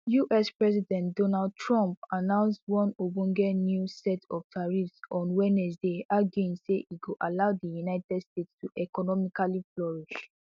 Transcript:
us president donald trump announce one ogbonge new set of tariffs on wednesday arguing say e go allow di united states to economically flourish